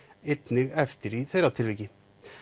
einnig eftir í þeirra tilviki